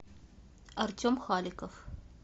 артем халиков